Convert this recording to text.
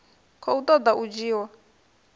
khou ṱo ḓa u dzhiwa